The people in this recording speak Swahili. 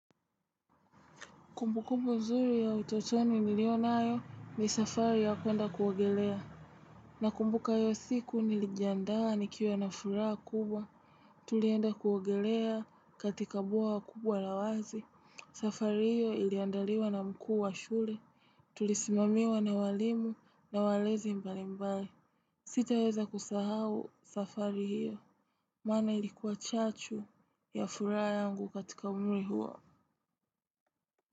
Kumbukumbu mzuri ya utotoni nilionayo ni safari ya kuenda kuuogelea. Nakumbuka hiyo siku nilijandaa nikiwa na furaha kubwa. Tulienda kuuogelea katika bwaha kubwa la wazi. Safari hiyo iliandaliwa na mkuu wa shule. Tulisimamiwa na walimu na walezi mbalimbali. Sitaweza kusahau safari hiyo. Maana ilikuwa chachu ya furaha yangu katika umri huo.